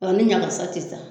Ani ɲagasa te ta